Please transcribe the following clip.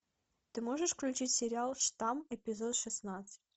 ты можешь включить сериал штамм эпизод шестнадцать